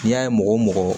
N'i y'a ye mɔgɔ o mɔgɔ